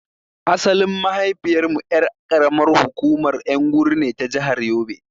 Asalin mahaifiyar mu ƴar ƙaramin hukumar Nguru ne ta jahar yobe.